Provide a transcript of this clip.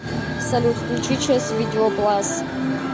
салют включи чес видео плас